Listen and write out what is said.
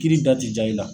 Kiiri da ti ja i la